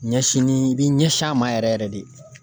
Ɲɛsin ni, i bi ɲɛsin a ma yɛrɛ yɛrɛ de.